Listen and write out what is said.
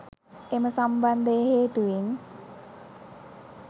එම සම්බන්ධය හේතුවෙන්